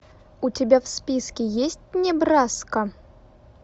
у тебя в списке есть небраска